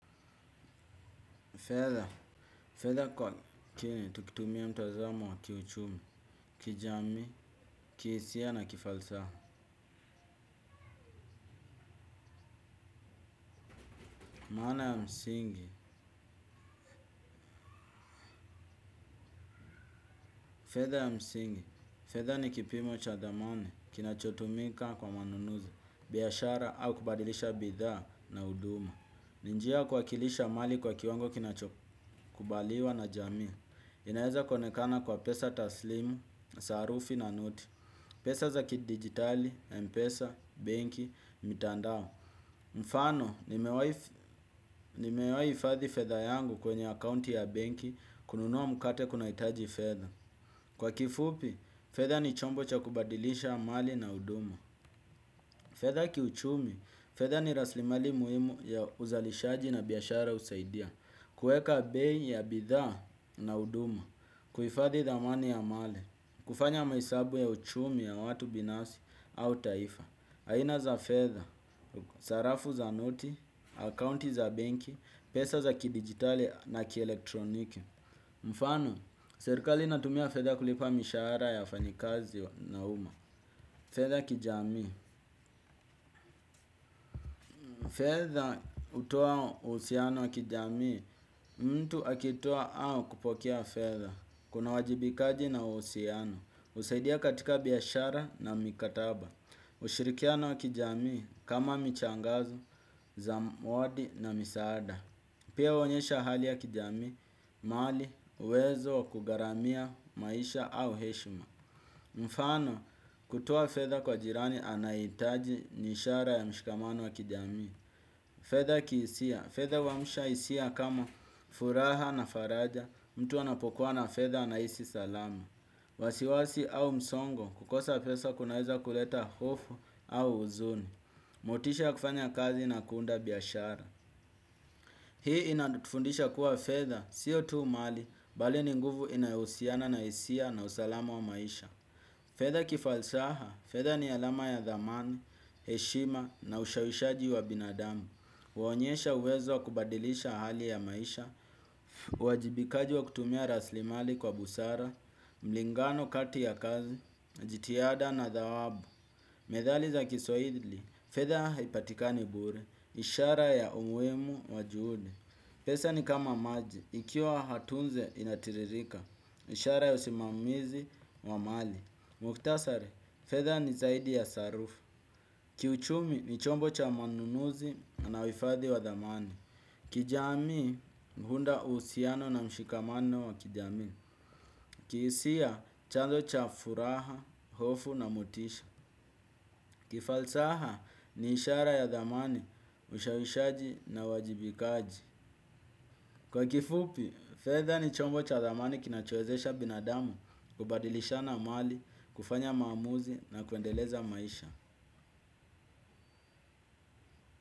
Fedha. Fedha kwa. Kiini, tukitumia mtazamo wa kiuchumi, kijamii, kihisia na kifalsaha. Maana ya msingi. Feather ya msingi. Fedha ni kipimo cha dhamani, kinachotumika kwa manunuzi, biashara au kubadilisha bidhaa na uduma. Ni njia ya kuwakilisha mali kwa kiwango kinachokubaliwa na jamii. Inaeza kuonekana kwa pesa taslimu, sarufi na noti. Pesa za kidigitali, mpesa, benki, mitandao. Mfano, nimewaihifadhi fedha yangu kwenye akaunti ya benki kununua mukate kunaitaji fedha. Kwa kifupi, fedha ni chombo cha kubadilisha mali na uduma. Fedha kiuchumi, fedha ni raslimali muhimu ya uzalishaji na biashara usaidia. Kueka bei ya bidhaa na uduma kuifadhi dhamani ya mali, kufanya mahesabu ya uchumi ya watu binafsi au taifa. Aina za fedha, sarafu za noti, akaunti za benki, pesa za kidigitali na kielektroniki. Mfano, serikali inatumia fedha kulipa mishaara ya wafanyikazi na uma. Fedha ya kijamii. Fedha utoa usiano wa kijami. Mtu akitoa au kupokea fedha kunawajibikaji na usiano usaidia katika biashara na mikataba. Ushirikiana wa kijamii kama michangazo, zamwadi na misaada pia uonyesha hali ya kijamii, mali, uwezo, waku garamia, maisha au heshma. Mfano kutoa fedha kwa jirani anaitaji nishara ya mshikamano wa kijamii. Fedha kiisia, fedha huamusha isia kama furaha na faraja. Mtu anapokuwa na fedha anaisi salama. Wasiwasi au msongo, kukosa pesa kunaweza kuleta hofu au uzuni. Motisha ya kufanya kazi na kuunda biashara. Hii inatufundisha kuwa fedha, sio tu mali, bali ni nguvu inayo usiana na isia na usalama wa maisha. Fedha kifalsaha, fedha ni alama ya dhamani, heshima na ushawishaji wa binadamu. Waonyesha uwezo wa kubadilisha hali ya maisha. Uwajibikaji wa kutumia raslimali kwa busara mlingano kati ya kazi, jitiada na dhawabu. Methali za kiswaili fedha haipatikani bure. Ishara ya umuimu wa juhudi. Pesa ni kama maji. Ikiwa hatunze inatiririka. Ishara ya usimamizi wa mali Muktasari Fedha ni zaidi ya sarufu. Kiuchumi ni chombo cha manunuzi na uifadhi wa dhamani kijamii huunda uhusiano na mshikamano wa kijamii. Kihisia chanzo cha furaha, hofu na motisha. Kifalsaha ni ishara ya dhamani, ushawishaji na wajibikaji. Kwa kifupi, fedha ni chombo cha dhamani kinachoezesha binadamu, kubadilishana mali, kufanya maamuzi na kuendeleza maisha.